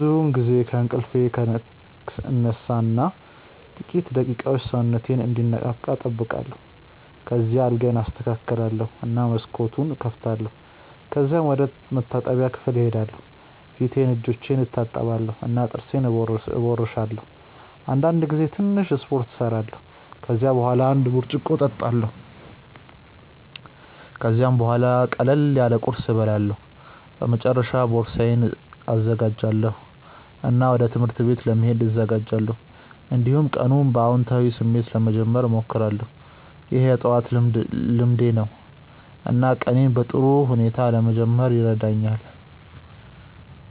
ብዙውን ጊዜ ከእንቅልፌ እነሳ እና ጥቂት ደቂቃዎች ሰውነቴን እንዲነቃ እጠብቃለሁ። ከዚያ አልጋዬን አስተካክላለሁ እና መስኮቱን እከፍታለሁ። ከዚያም ወደ መታጠቢያ ክፍል እሄዳለሁ ፊቴንና እጆቼን እታጠባለሁ እና ጥርሴን እቦርሳለሁ። አንዳንድ ጊዜ ትንሽ ስፖርት እሰራለሁ። ከዚያ በኋላ አንድ ብርጭቆ እጠጣለሁ። ከዚያም ቡሃላ ቅለል ያለ ቁርስ እበላለሁ። በመጨረሻ ቦርሳዬን እዘጋጃለሁ እና ወደ ትምህርት ቤት ለመሄድ እዘጋጃለሁ። እንዲሁም ቀኑን በአዎንታዊ ስሜት ለመጀመር እሞክራለሁ። ይህ የጠዋት ልምዴ ነው እና ቀኔን በጥሩ ሁኔታ ለመጀመር ይረዳኛል።